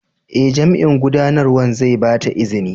Ee, Jami'in Gudanarwa zai ba ta izini.